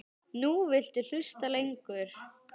Nú viltu hlusta lengur.